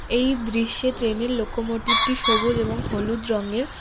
এই দৃশ্যে ট্রেনের লোকোমোটিভটি সবুজ এবং হলুদ রঙের।